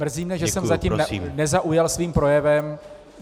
Mrzí mě, že jsem zatím nezaujal svým projevem.